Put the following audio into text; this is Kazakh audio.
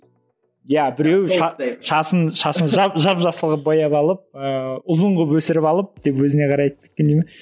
иә біреуі шашын шашын жап жасыл қылып бояп алып ыыы ұзын қылып өсіріп алып деп өзіне қарай айтып кеткен дей ме